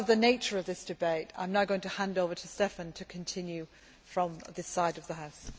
Because of the nature of this debate, I am now going to hand over to Štefan to continue from this side of the House.